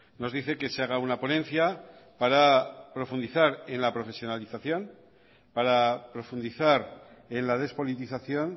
nos dice que se haga una ponencia para profundizar en la profesionalización para profundizar en la despolitización